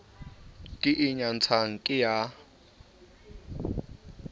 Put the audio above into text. ke e nyatsang ke ya